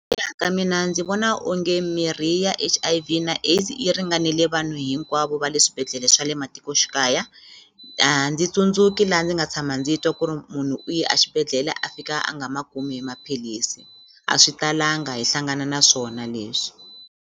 ka mina ndzi vona onge mirhi ya H_I_V na AIDS yi ringanele vanhu hinkwavo va le swibedhlele swa le matikoxikaya a ndzi tsundzuki la ndzi nga tshama ndzi twa ku ri munhu u ye a xibedhlele a fika a nga ma kumi maphilisi a swi talanga hi hlangana na swona leswi